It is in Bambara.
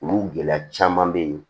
Olu gɛlɛya caman bɛ yen